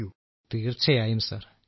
രാജേഷ് പ്രജാപതി തീർച്ചയായും സർ